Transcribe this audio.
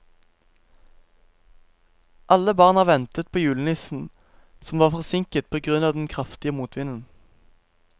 Alle barna ventet på julenissen, som var forsinket på grunn av den kraftige motvinden.